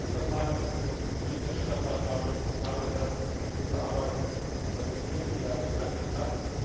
Ich möchte zunächst einmal unserem Berichterstatter David Casa herzlich für die gute Arbeit gratulieren, die er geleistet hat.